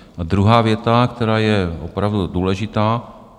Druhá věta, která je opravdu důležitá.